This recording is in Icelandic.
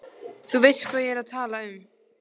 Þú veist hvað ég er að tala um.